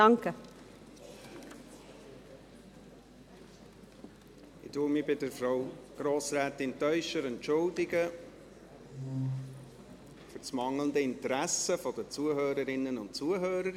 Ich entschuldige mich bei Grossrätin Teuscher-Abts für das mangelnde Interesse der Anwesenden.